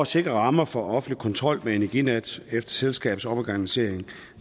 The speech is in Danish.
sikre rammer for offentlig kontrol med energinet efter selskabets omorganisering